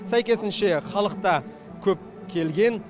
сәйкесінше халық та көп келген